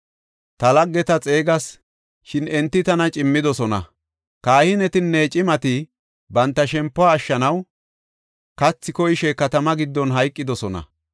Ta laggeta xeegas; shin enti tana cimmidosona; kahinetinne cimati banta shempuwa ashshanaw, kathi koyishe katama giddon hayqidosona.